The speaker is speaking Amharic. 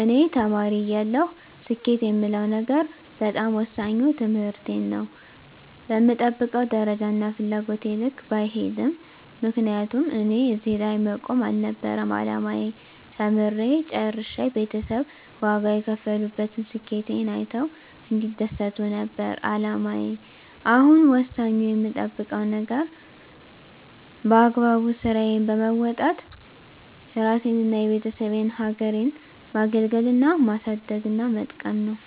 እኔ ተማሪ እያለሁ ስኬት የምለው ነገር በጣም ወሳኙ ትምህርቴን ነው በምጠብቀው ደረጃና ፍላጎቴ ልክ ባይሄድም ምክንያቱም እኔ እዚህ ላይ መቆም አልነበረም አላማዬ ተምሬ ጨርሸ ቤተሰብ ዋጋ የከፈሉበትን ስኬቴን አይተው እንዲደሰቱ ነበር አላማዬ አሁን ወሳኙ የምጠብቀው ነገር በአግባቡ ስራዬን በወጣት እራሴንና የቤተሰቤን ሀገሬን ማገልገልና ማሳደግና መጥቀም ነው።